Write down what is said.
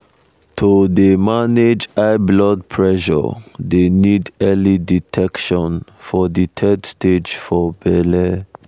to um dey manage high blood pressure dey need early detection for de third stage for belle